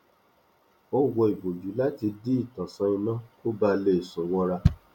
ó wọ ìbòjú láti dí ìtànsán iná kó baà le sùn wọra